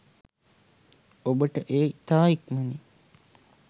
ඔබට එය ඉතා ඉක්මනින්